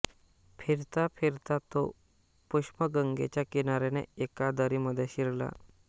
फिरता फिरता तो पुष्पगंगेच्या किनाऱ्याने एका दरीमध्ये शिरला